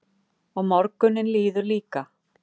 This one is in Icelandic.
Og morgunninn líður líka.